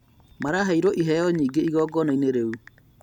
Maraheirwo iheo nyingĩ igongona-inĩ rĩu